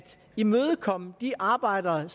imødekomme de arbejdere